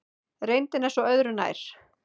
Reyndin er svo öðru nær.